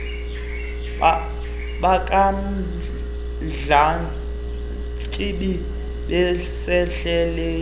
abafana bakamdlantsimbi besendleleni